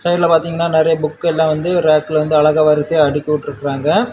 இதுல பாத்தீங்கன்னா நெறைய புக் எல்லா வந்து ரேக்கல வந்து அழகா வரிசையா அடுக்கிவுட்ருக்காங்க.